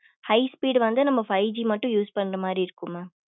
high speed வந்து நம்ம five G மட்டும் use பண்ற மாறி இருக்கும் mam